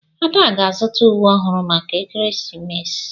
Ada ga-azụta uwe ọhụrụ maka ekeresimesi.